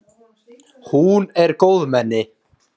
Hún er góðmenni.